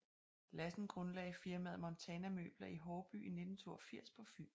Lassen grundlagde firmaet Montana Møbler i Haarby i 1982 på Fyn